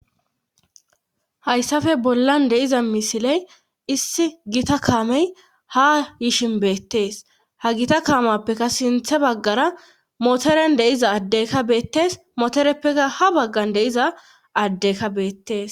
hayssafe bollan de'iza misiley issi gita kaamey ha yishin beettees ha gita kaamappekka sinthe baggara motoren deiza addeykka beettees motoreppeka ha baggan deiza addeyka beettees